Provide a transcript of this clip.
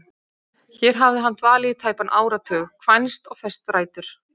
Hér hafði hann dvalið í tæpan áratug, kvænst og fest rætur.